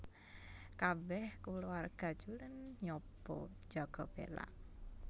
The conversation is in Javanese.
Kabèh kulawarga Cullen nyoba njaga Bella